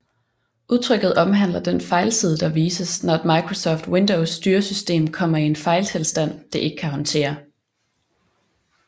Udtrykket omhandler den fejlside der vises når et Microsoft Windows styresystem kommer i en fejltilstand det ikke kan håndtere